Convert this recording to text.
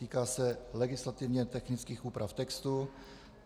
Týká se legislativně technických úprav textu.